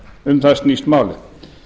um það snýst málið